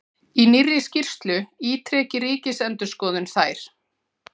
Í nýrri skýrslu ítreki Ríkisendurskoðun þær